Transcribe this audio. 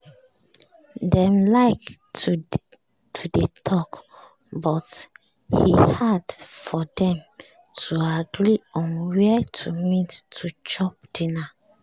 dem like to dey talk but e hard for dem to agree on where to meet to chop dinner